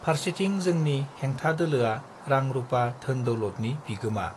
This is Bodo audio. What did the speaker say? फार्सेथिं जोंनि हेंथा दोलोआ रां रूपा धोन दौलदनि बिगोमा